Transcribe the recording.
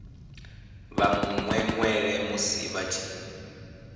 vha mwemwele musi vha tshi